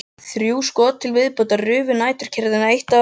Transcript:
Þrjú skot til viðbótar rufu næturkyrrðina eitt af öðru.